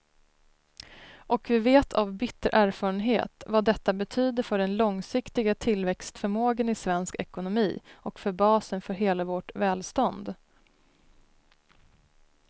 Och vi vet av bitter erfarenhet vad detta betyder för den långsiktiga tillväxtförmågan i svensk ekonomi och för basen för hela vårt välstånd.